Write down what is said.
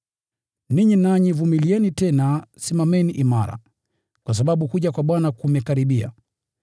Ninyi nanyi vumilieni, tena simameni imara, kwa sababu kuja kwa Bwana kumekaribia.